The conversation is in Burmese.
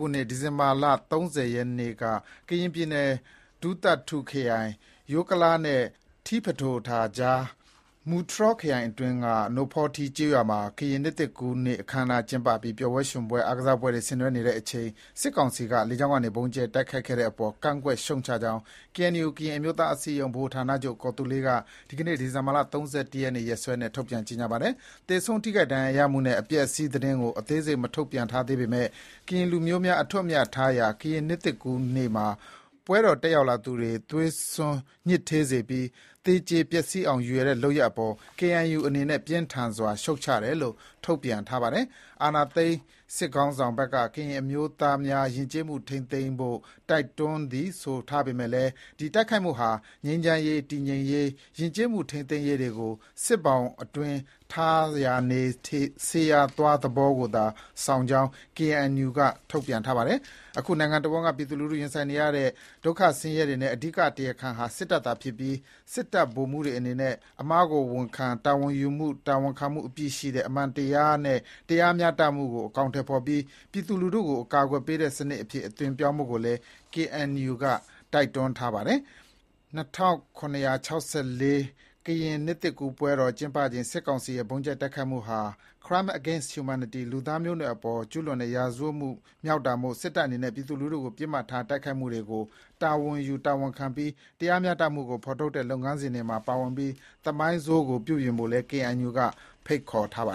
ခုနှစ် ဒီဇင်ဘာလ ၃၀ရက်နေ့က ကရင်ပြည်နယ် ဒူးသထူခရိုင် ယိုကလားနဲ့ ထီးဖဒိုထာကြား မူတြော်ခရိုင်အတွင်းက နိုဖောထီးကျေးရွာမှာ ကရင်နှစ်သစ်ကူးနေ့အခမ်းအနားကျင်းပပြီး ပျော်ပွဲရွှင်ပွဲ အားကစားပွဲတွေ ဆင်နွှဲနေချိန် စစ်ကောင်စီက လေကြောင်းကနေ ဗုံးကြဲတိုက်ခိုက်ခဲ့တဲ့အပေါ် ကန့်ကွက်ရှုတ်ချကြောင်း ကေအဲန်ယူကရင်အမျိုးသားအစည်းအရုံး ဗဟိုဌာနချုပ် ကော်သူးလေက ဒီကနေ့ ဒီဇင်ဘာလ ၃၁ရက်နေ့ ရက်စွဲနဲ့ ထုတ်ပြန်ကြေညာပါတယ်။ သေဆုံး ထိခိုက်ဒဏ်ရာရရှိမှုနဲ့ အပျက်အစီးသတင်းကို အသေးစိတ်မထုတ်ပြန်ထားသေးပေမဲ့ ကရင်လူမျိုးများအထွဋ်အမြတ်ထားရတာ ကရင်နှစ်သစ်ကူးနေ့မှာ ပွဲတော်တက်ရောက်သူတွေကို သွေးစွန်းညစ်ထေးစေပြီး သေကြေပျက်စီးအောင်ရည်ရွယ်တဲ့လုပ်ရပ်အပေါ် KNU အနေနဲ့ ပြင်းထန်စွာရှုတ်ချတယ်လို့ ထုတ်ပြန်ထားပါတယ်။ အာဏာသိမ်းစစ်ခေါင်းဆောင်ဘက်က ကရင်လူမျိုးများ ယဉ်ကျေးမှုထိန်းသိမ်းရန် တိုက်တွန်းသည်လို့ ဆိုထားပေမဲ့ ဒီတိုက်ခိုက်မှုဟာ ငြိမ်းချမ်းရေး၊ တည်ငြိမ်ရေး၊ ယဉ်ကျေးမှုထိန်းသိမ်းရေးတွေကို စစ်ဘောင်အတွင်း ထားရာနေ၊ စေရာသွားသဘောကိုသာဆောင်ကြောင်း KNU က ဆိုပါတယ်။ အခုနိုင်ငံတဝန်းက ပြည်သူလူထုရင်ဆိုင်နေရတဲ့ ဒုက္ခဆင်းရဲတွေရဲ့ အဓိက တရားခံဟာ စစ်တပ်သာဖြစ်ပြီး တပ်ဗိုလ်တပ်မှူးတွေအနေနဲ့ အမှားကိုဝန်ခံ တာဝန်ယူမှု တာဝန်ခံမှုအပြည့်ရှိတဲ့ အမှန်တရားနဲ့ တရားမျှတမှုကို အကောင်အထည်ဖော်ပြီး ပြည်သူလူထုကို အကာအကွယ်ပေးတဲ့စစ်တပ်အဖြစ် အသွင်ပြောင်းဖို့ကိုလည်း KNU က တိုက်တွန်းထားပါတယ်။ ၂၇၆၄ ကရင်နှစ်သစ်ကူးပွဲတော်ကျင်းပချိန် စစ်ကောင်စီရဲ့ဗုံးကြဲတိုက်ခိုက်မှုဟာ Crimes Against Humanity လူသားမျိုးနွယ်အပေါ်ကျူးလွန်တဲ့ ရာဇဝတ်မှုမြောက်တာမို့ စစ်တပ်အနေနဲ့ ပြည်သူကို ပစ်မှတ်ထားတိုက်ခိုက်မှုတွေကို တာဝန်ယူတာဝန်ခံပြီး တရားမျှတမှုကိုဖော်ထုတ်တဲ့လုပ်ငန်းစဉ်တွေမှာ ပါဝင်ပြီး သမိုင်းဆိုးကို ပြုပြင်ဖို့ KNU အနေ နဲ့ ဖိတ်ခေါ်ပါ